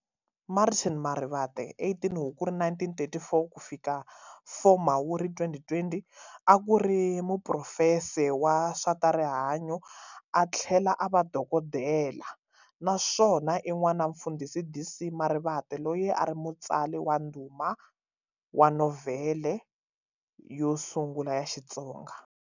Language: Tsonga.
Martin Marivate, 18 Hukuri 1934-ku fika 4 Mhawuri 2020, a kuri phurofese wa swatarihanyo a thlela ava dokodela, naswona i n'wana wa mufundhisi D.C Marivate loyi a ari Mutsari wa ndhuma wa novhele yo sungula ya Xitsonga.